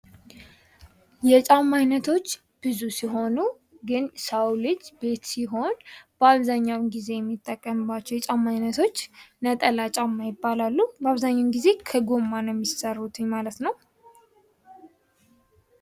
የጫማ አይነቶች ብዙ ሲሆኑ ግን የሰው ልጅ ቤት ሲሆን በአብዛኛው ጊዜ የሚጠቀምባቸው የጫማ አይነቶች ነጠላ ጫማ ይባላሉ። በአብዛኛው ጊዜ ከጎማ ነው ሚሰሩት ማለት ነው ።